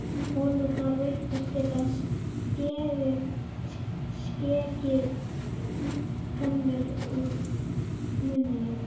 Holurnar virtust geta skekið tennur úr munninum.